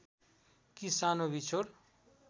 कि सानो बिछोड